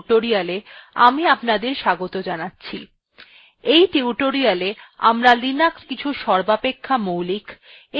in tutorialতে আমরা linuxin কিছু সর্বাপেক্ষা মৌলিক of এখনও প্রচুরভাবে ব্যবহৃত র্নিদেশাবলীর সঙ্গে পরিচিত হব